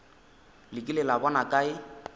le kile la bona kae